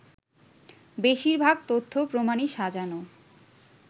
“বেশিরভাগ তথ্য-প্রমাণই সাজানো